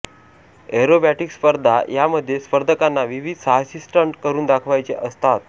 aerobatic स्पर्धा या मध्ये स्पर्धकांना विविध साहसी स्टंट करून दाखवायचे असतात